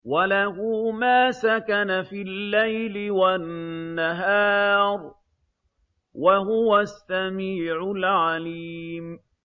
۞ وَلَهُ مَا سَكَنَ فِي اللَّيْلِ وَالنَّهَارِ ۚ وَهُوَ السَّمِيعُ الْعَلِيمُ